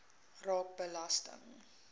raak belasting